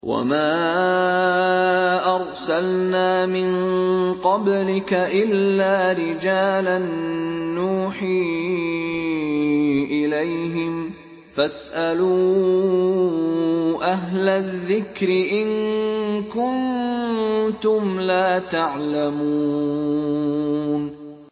وَمَا أَرْسَلْنَا مِن قَبْلِكَ إِلَّا رِجَالًا نُّوحِي إِلَيْهِمْ ۚ فَاسْأَلُوا أَهْلَ الذِّكْرِ إِن كُنتُمْ لَا تَعْلَمُونَ